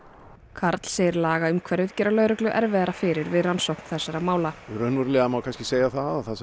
karl segir lagaumhverfið gera lögreglu erfiðara fyrir við rannsókn þessara mála raunverulega má segja að